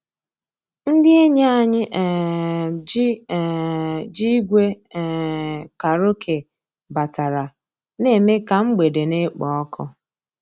Ndị́ ényí ànyị́ um jì um jì ígwè um kàràókè batàrà, ná-èmè ká mgbedé ná-èkpò ọ́kụ́.